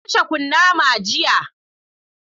Na kashe kunama jiya.